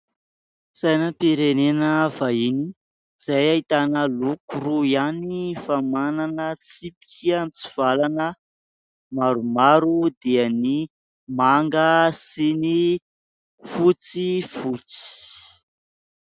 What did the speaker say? Sainam-pirenena vahiny izay ahitana loko roa ihany fa manana tsipika mitsivalana maromaro dia ny manga sy ny fotsifotsy.